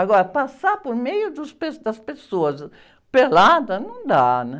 Agora, passar por meio dos pe, das pessoas, ãh, pelada não dá, né?